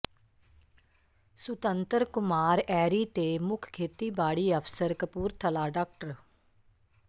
ਸੁਤੰਤਰ ਕੁਮਾਰ ਐਰੀ ਤੇ ਮੁੱਖ ਖੇਤੀਬਾੜੀ ਅਫ਼ਸਰ ਕਪੂਰਥਲਾ ਡਾ